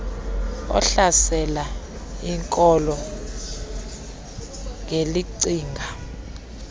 ohlasela iinkolo ngelicinga